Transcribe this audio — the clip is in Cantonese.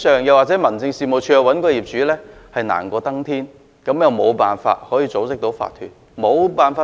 又或民政事務處人員要尋找業主時，比登天更難，故此無法組織法團。